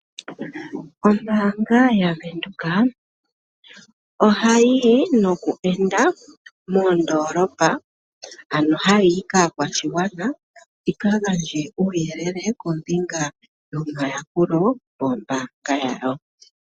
Ombaanga yaVenduka ohayi yi noku enda moondolopa , ano hayi yi kaakwashigwana yikagandje uuyelele kombinga yomayakulo gombaanga yawo.